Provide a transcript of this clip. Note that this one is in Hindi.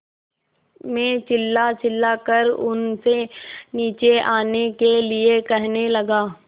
मैं चिल्लाचिल्लाकर उनसे नीचे आने के लिए कहने लगा